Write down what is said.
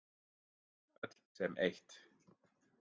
Öll sem eitt.